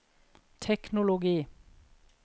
teknologi